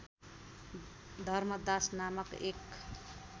धर्मदास नामक एक